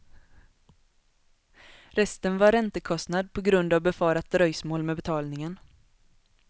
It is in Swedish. Resten var räntekostnad på grund av befarat dröjsmål med betalningen.